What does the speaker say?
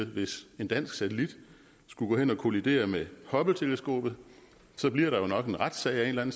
hvis en dansk satellit skulle gå hen og kollidere med hubbleteleskopet så bliver der jo nok en retssag af en